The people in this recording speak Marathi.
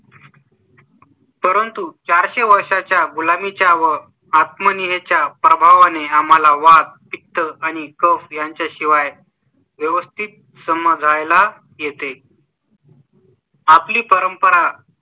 परंतु चार शे वर्षांच्या गुलामी च्या व आत्म नी हे च्या प्रभावा ने आम्हाला वात, पित्त आणि कफ यांच्या शिवाय व्यवस्थित समजाय ला येते आपली परंपरा,